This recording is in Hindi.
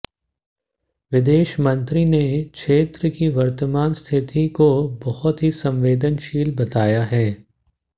विदेशमंत्री ने क्षेत्र की वर्तमान स्थिति को बहुत ही संवेदनशील बताया है